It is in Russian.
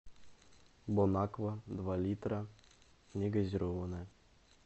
бон аква два литра негазированная